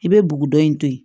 I bɛ bugudɔ in to yen